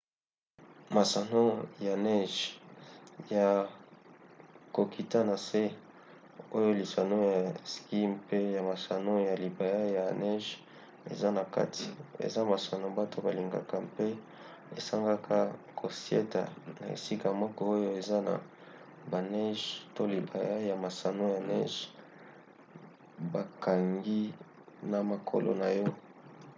masano ya neje ya kokita na nse oyo lisano ya ski mpe ya masano ya libaya ya neje eza na kati eza masano bato balingaka mpe esengaka kosieta na esika moko oyo eza na baneje to libaya ya masano ya neje bakangi na makolo na yo